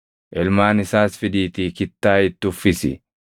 Ilmaan isaas fidiitii kittaa itti uffisi.